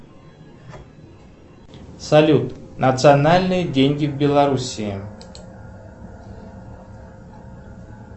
салют национальные деньги в белоруссии